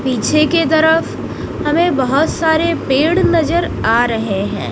पीछे के तरफ हमें बहोत सारे पेड़ नजर आ रहे हैं।